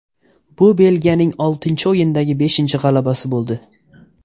Bu Belgiyaning oltinchi o‘yindagi beshinchi g‘alabasi bo‘ldi.